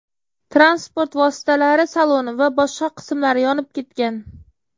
Transport vositalari saloni va boshqa qismlari yonib ketgan.